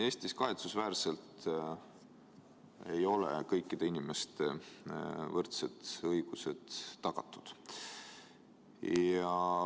Eestis kahetsusväärselt ei ole tagatud kõikide inimeste võrdsed õigused.